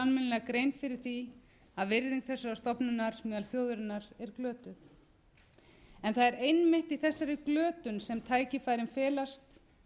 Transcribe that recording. almennilega grein fyrir því að virðing þessarar stofnunar meðal þjóðarinnar er glötuð það er einmitt í þessari glötun sem tækifærin felast